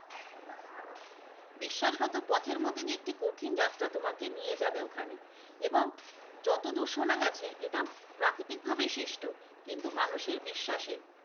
বিশ্বাসঘাতক পথের মধ্য দিয়ে কঠিন যাত্রার মধ্যে দিয়ে তোমাকে নিয়ে যাবে ওখানে, এবং যতদূর শোনা গেছে এটা প্রাকৃতিক ভাবে সৃষ্ট কিন্তু মানুষের বিশ্বাসে।